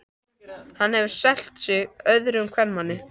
Hann hefur selt sig öðrum kvenmanni.